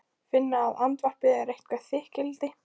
Finna að andvarpið er eitthvert þykkildi.